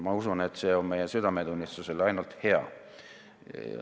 Ma usun, et see on meie südametunnistusele ainult hea.